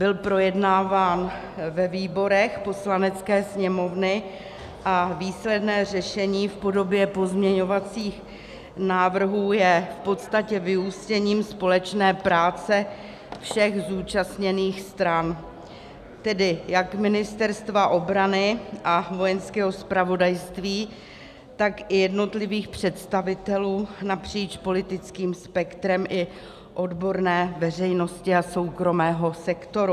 Byl projednáván ve výborech Poslanecké sněmovny a výsledné řešení v podobě pozměňovacích návrhů je v podstatě vyústěním společné práce všech zúčastněných stran, tedy jak Ministerstva obrany a Vojenského zpravodajství, tak i jednotlivých představitelů napříč politickým spektrem i odborné veřejnosti a soukromého sektoru.